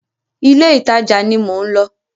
Ilé ìtajà ni mò ń lọ.